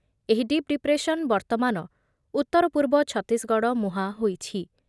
ଏହି ଡିପ୍ ଡିପ୍ରେସନ୍ ବର୍ତ୍ତମାନ ଉତ୍ତର ପୂର୍ବ ଛତିଶଗଡ଼ ମୁହାଁ ହୋଇଛି ।